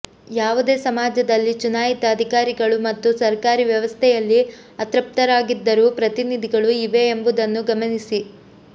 ಯಾವುದೇ ಸಮಾಜದಲ್ಲಿ ಚುನಾಯಿತ ಅಧಿಕಾರಿಗಳು ಮತ್ತು ಸರ್ಕಾರಿ ವ್ಯವಸ್ಥೆಯಲ್ಲಿ ಅತೃಪ್ತರಾಗಿದ್ದರು ಪ್ರತಿನಿಧಿಗಳು ಇವೆ ಎಂಬುದನ್ನು ಗಮನಿಸಿ